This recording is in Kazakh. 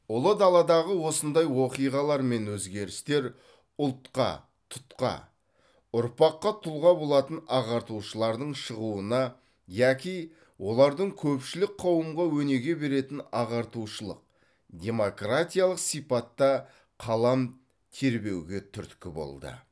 ұлы даладағы осындай оқиғалар мен өзгерістер ұлтқа тұтқа ұрпаққа тұлға болатын ағартушылардың шығуына яки олардың көпшілік қауымға өнеге беретін ағартушылық демократиялық сипатта қалам тербеуге түрткі болды